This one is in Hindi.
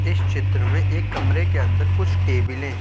इस चित्र में एक कमरे के अंदर कुछ टेबलें --